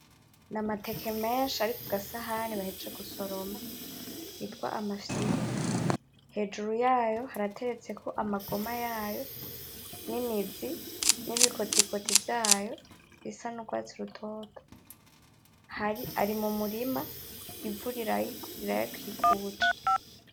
N'amateke menshi ari ku gasahani bahejeje gusoroma yitwa amafyiru, hejuru yayo harateretseko amagoma yayo; n'imizi n'ibikotikoti vyayo bisa n'ugwatsi rutoto, hari! Ari mu murima imvura irayi! Irayakikuje.